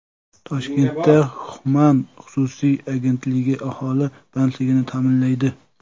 Toshkentda Human xususiy agentligi aholi bandligini ta’minlaydi.